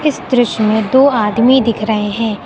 इस दृश्य में दो आदमी दिख रहे हैं।